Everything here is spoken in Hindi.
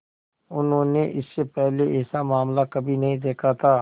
उन्होंने इससे पहले ऐसा मामला कभी नहीं देखा था